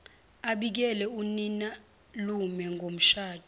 abikele uninalume ngomshado